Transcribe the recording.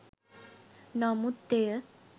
නමුත් එය